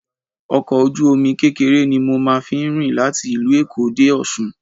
Ọkọ̀ ojú omi kékeré ni mo máa fín rìn láti ìlú Èkó dé Ọsun